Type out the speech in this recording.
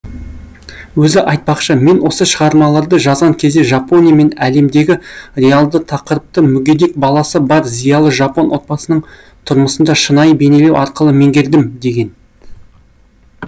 өзі айтпақшы мен осы шығармаларды жазған кезде жапония мен әлемдегі реалды тақырыпты мүгедек баласы бар зиялы жапон отбасының тұрмысында шынайы бейнелеу арқылы меңгердім деген